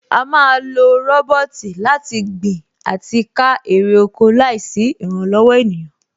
À á ma lo rọ́bọ́ọ̀tì láti gbin àti ká èrè oko láìsí ìrànlọ̀wọ̀ ènìyàn